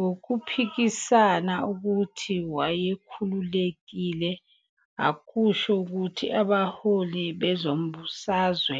Ngokuphikisa ukuthi wayekhululekile ukusho ukuthi abaholi bezombusazwe